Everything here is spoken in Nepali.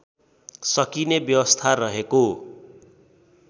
सकिने व्यवस्था रहेको